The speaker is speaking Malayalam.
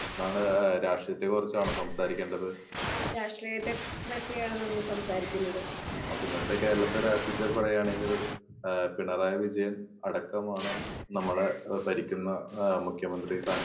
എന്താണ് ഏഹ്‌ രാഷ്ട്രീയത്തെ കുറിച്ചാണോ സംസാരിക്കേണ്ടത്. അപ്പൊ ഇന്നത്തെ കേരളത്തെ രാഷ്ട്രീയത്തെ പറയാണെങ്കിൽ ഏഹ് പിണറായി വിജയൻ ഏഹ് അടക്കമാണ് നമ്മുടെ ഏഹ് ഭരിക്കുന്ന ഏഹ് മുഖ്യ മന്ത്രി സ്ഥാനത്തിൽ